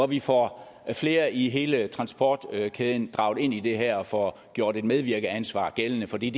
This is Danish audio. vi får flere i hele transportkæden draget ind i det her og får gjort et medvirkeansvar gældende for det